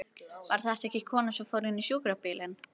Var þetta ekki konan sem fór inn í sjúkrabílinn?